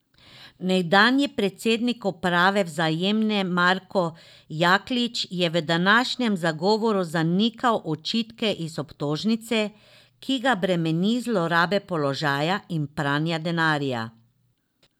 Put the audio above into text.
Nekdanji predsednik uprave Vzajemne Marko Jaklič je v današnjem zagovoru zanikal očitke iz obtožnice, ki ga bremeni zlorabe položaja in pranja denarja.